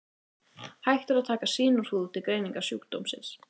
Hægt er að taka sýni úr húð til greiningar sjúkdómsins.